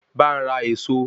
Bá n ra Ẹ̀ẹ̀so